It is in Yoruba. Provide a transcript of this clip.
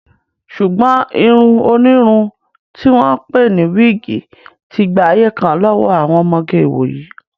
Ṣùgbọ́n irun onírun tí wọ́n ń pè ní wíìgì ti gba ayé kan lọ́wọ́ àwọn ọmọge ìwòyí